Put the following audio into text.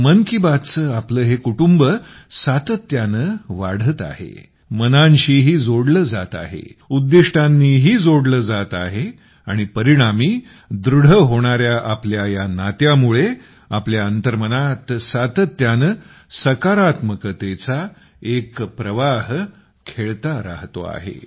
मन की बात चे आपले हे कुटुंब सातत्याने वाढते आहे मनांशीही जोडले जाते आहे उद्दिष्टांनीही जोडले जाते आहे आणि परिणामी दृढ होणाऱ्या आपल्या या नात्यामुळे आपल्या अंतर्मनात सातत्याने सकारात्मकतेचा एक प्रवाह खेळता राहतो आहे